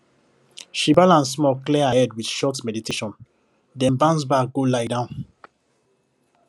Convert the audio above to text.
she balance small clear her head with short meditation then bounce back go lie down